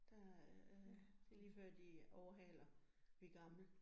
Der øh det lige før de overhæler de gamle